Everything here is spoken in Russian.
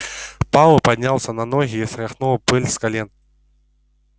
пауэлл поднялся на ноги и стряхнул пыль с колен